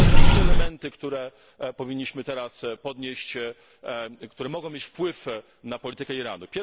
Sądzę, że są trzy elementy, które powinniśmy teraz poruszyć i które mogą mieć wpływ na politykę Iranu.